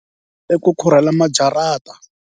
I ku khurhela maharaja.